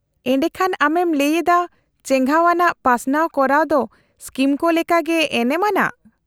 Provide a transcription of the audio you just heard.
-ᱮᱰᱮᱠᱷᱟᱱ ᱟᱢᱮᱢ ᱞᱟᱹᱭ ᱮᱫᱟ ᱪᱮᱜᱷᱟᱣ ᱟᱱᱟᱜ ᱯᱟᱥᱱᱟᱣ ᱠᱚᱨᱟᱣ ᱫᱚ ᱥᱠᱤᱢ ᱠᱚ ᱞᱮᱠᱟᱜᱮ ᱮᱱᱮᱢ ᱟᱱᱟᱜ ᱾